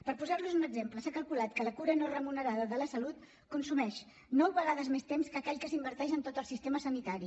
per posar los en un exemple s’ha calculat que la cura no remunerada de la salut consumeix nou vegades més temps que aquell que s’inverteix en tot el sistema sanitari